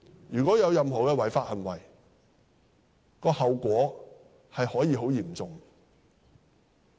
如果有任何違法行為，後果可以很嚴重。